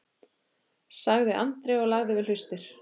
sagði Andri og lagði við hlustir.